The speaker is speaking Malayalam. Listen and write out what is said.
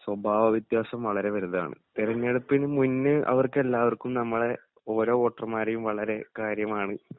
സ്വഭാവ വ്യത്യാസം വളരെ വലുതാണ്. തെരഞ്ഞെടുപ്പിനു മുന്നേ അവർക്കെല്ലാവർക്കും നമ്മളെ ഓരോ വോട്ടർമാരെയും വളരെ കാര്യമാണ്.